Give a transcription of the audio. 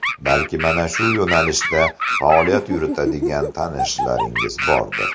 Balki, mana shu yo‘nalishda faoliyat yuritadigan tanishlaringiz bordir.